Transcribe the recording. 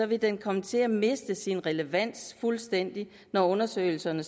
ville den komme til at miste sin relevans fuldstændig når undersøgelserne